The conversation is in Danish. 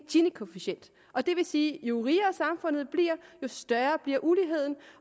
ginikoefficienten og det vil sige at jo rigere samfundet bliver jo større bliver uligheden